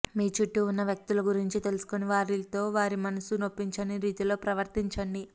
మీచూట్టూ ఉన్న వ్యక్తుల గురించి తెలుసుకొని వారితో వారి మనస్సు నొప్పించని రీతిలో ప్రవర్తించండి